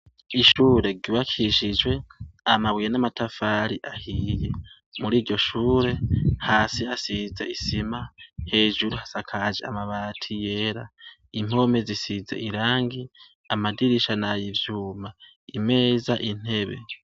Ishure ryubakishijwe amabuye n'amatafari ahiye muri iryo shure hasi hasize isima, hejuru hasakaje amabati yera, impome zisize irangi amadirisha nay'ivyuma imeza intebe.